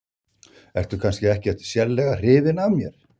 Ertu kannski ekkert sérstaklega hrifin af mér?